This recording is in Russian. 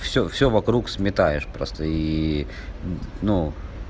всё всё вокруг сметаешь просто и ну